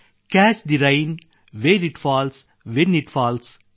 catch the rain where it falls when it falls